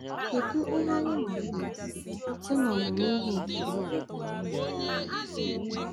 “Kedu ihe anyị mụta site n’ọmụmụ ihe nke Lot na nwunye ya?”